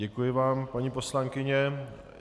Děkuji vám, paní poslankyně.